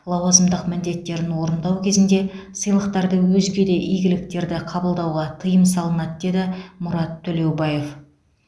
лауазымдық міндеттерін орындау кезінде сыйлықтарды өзге де игіліктерды қабылдауға тыйым салынады деді мұрат төлеубаев